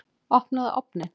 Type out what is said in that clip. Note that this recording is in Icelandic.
Opnaðu ofninn!